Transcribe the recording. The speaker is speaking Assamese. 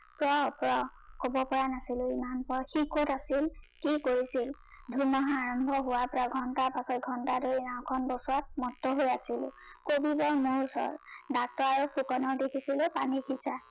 প্ৰ, প্ৰ কব পৰা নাছিলো ইমান পৰ সি কত আছিল, কি কৰিছিল, ধুমুহা আৰম্ভ হোৱাৰ ঘণ্টা পা ঘণ্টা ধৰি নাও খন বচোৱাত মত্ত হৈ আছিলো, কবি গল মোৰ ওচৰত, ডাক্তৰ আৰু ফুকনক দেখিছোগে পানী সিচা